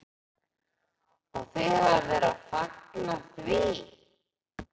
Og þið hafið verið að fagna því?